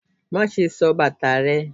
Maṣe sò bata rẹ!